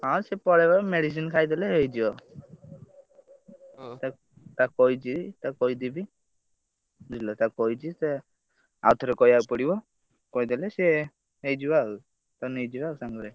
ହଁ ସିଏ ପଳେଇବ medicine ଖାଇଦେଲେ ହେଇଯିବ ତାକୁ କହିଛି ତାକୁ କହିଦେବି ବୁଝିଲ ତାକୁ କହିଛି ସେ ଆଉ ଥରେ କହିବାକୁ ପଡିବ କହିଦେଲେ ସେ ହେଇଯିବ ଆଉ ତାକୁ ନେଇଯିବା ଆଉ ସାଙ୍ଗରେ।